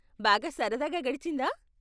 బాగా సరదాగా గడిచిందా?